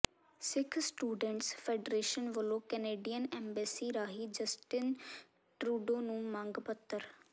ਸਿੱਖ students federation ਵਲੋਂ Canadian embassy ਰਾਹੀਂ Justin Trudeau ਨੂੰ ਮੰਗ ਪੱਤਰ